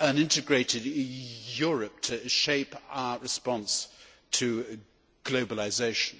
need an integrated Europe to shape our response to globalisation,